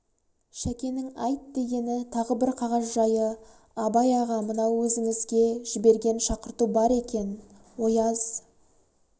шәкенің айт дегені тағы бір қағаз жайы абай аға мынау өзіңізге жіберген шақырту бар екен ояз